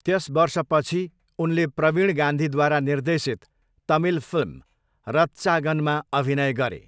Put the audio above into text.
त्यस वर्षपछि, उनले प्रवीण गान्धीद्वारा निर्देशित तमिल फिल्म रत्चागनमा अभिनय गरे।